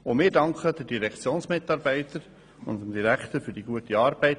Auch wir danken den Direktionsmitarbeitern und dem Direktor für die gute Arbeit.